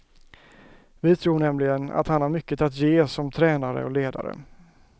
Vi tror nämligen att han har mycket att ge som tränare och ledare.